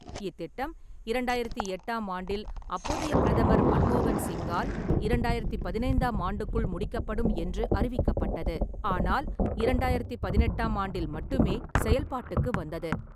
இத்திட்டம் இரண்டாயிரத்தி எட்டாம் ஆண்டில் அப்போதைய பிரதமர் மன்மோகன் சிங்கால் இரண்டாயிரத்தி பதினைந்தாம் ஆண்டுக்குள் முடிக்கப்படும் என்று அறிவிக்கப்பட்டது, ஆனால் இரண்டாயிரத்தி பதினெட்டாம் ஆண்டில் மட்டுமே செயல்பாட்டுக்கு வந்தது.